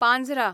Panjhra